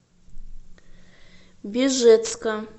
бежецка